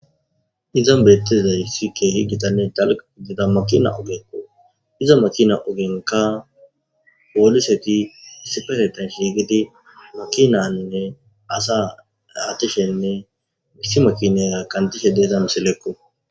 Iza bettizay sikke higitanne dalq gidida makina ogeko iza makina ogenka pooliseti isipesetan shiigidi makinanne asa atishenne misi makinera kandishe deeza meselekko.